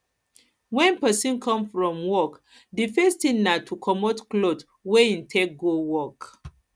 when person come from work di first thing na to comot cloth wey im take go work